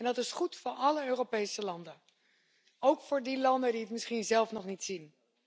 Dat is goed voor alle Europese landen, ook voor die landen die het misschien zelf nog niet zien.